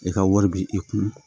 I ka wari bi i kun